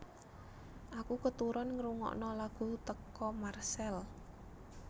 Aku keturon ngerungokno lagu teko Marcell